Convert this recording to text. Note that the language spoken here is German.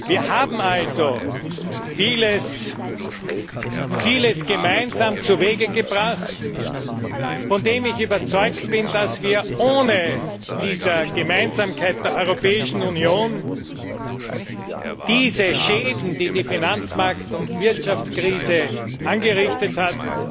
Wir haben also vieles gemeinsam zuwege gebracht, von dem ich überzeugt bin, dass wir ohne diese Gemeinsamkeit der Europäischen Union diese Schäden, die die Finanzmarkt und Wirtschaftskrise angerichtet hat,